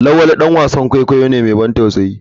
lawali dan wasan kwaikwayo ne mai ban tausayi.